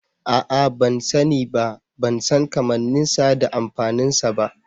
A'a ban sani ba, ban san kammanin sa da amfanin sa ba.